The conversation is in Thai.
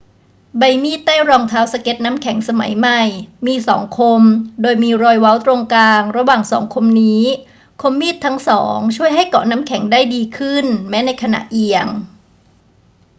ใบมีดใต้รองเท้าสเกตน้ำแข็งสมัยใหม่มีสองคมโดยมีรอยเว้าตรงกลางระหว่างสองคมนี้ คมมีดทั้งสองช่วยให้เกาะน้ำแข็งได้ดีขึ้นแม้ในขณะเอียง